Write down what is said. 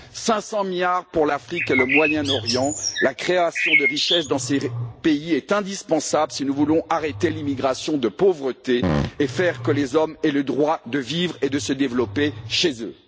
Cinq cents milliards pour l'Afrique et le Moyen Orient, car la création de richesses dans ces pays est indispensable si nous voulons arrêter l'immigration de pauvreté et faire que les hommes aient le droit de vivre et de se développer chez eux.